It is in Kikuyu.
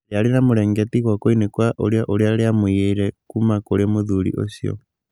Rĩarĩ na mũrengeti gwokoinĩ kwarĩo ũrĩa rĩamũiyeire kuma kũrĩ mũthuri ũcio.